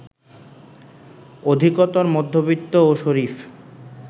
অধিকতর মধ্যবিত্ত ও শরিফ